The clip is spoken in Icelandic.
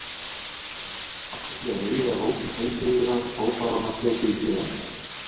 Með slíku atferli er vegið að rótum heilbrigðrar ákvarðanatöku í félaginu.